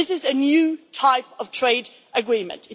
this is a new type of trade agreement.